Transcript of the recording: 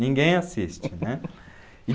Ninguém assiste, né?